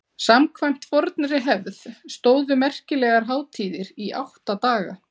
samkvæmt fornri hefð stóðu merkilegar hátíðir í átta daga